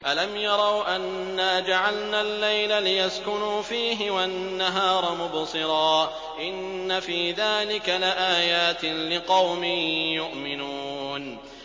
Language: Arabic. أَلَمْ يَرَوْا أَنَّا جَعَلْنَا اللَّيْلَ لِيَسْكُنُوا فِيهِ وَالنَّهَارَ مُبْصِرًا ۚ إِنَّ فِي ذَٰلِكَ لَآيَاتٍ لِّقَوْمٍ يُؤْمِنُونَ